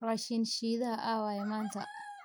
rashin shidhaha awaye manta